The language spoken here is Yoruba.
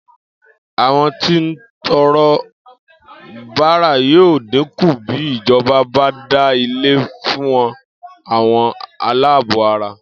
Àwo̩n tí ń to̩ro̩ bárà yóò dín kù bí ìjo̩ba bá dá ilé fú àwo̩n aláàbò ara